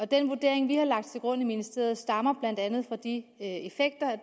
den vurdering vi har lagt til grund i ministeriet stammer blandt andet fra de effekter